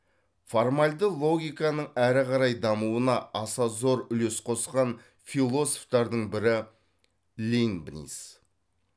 формальді логиканың әрі қарай дамуына аса зор үлес қосқан философтардың бірі лейбниц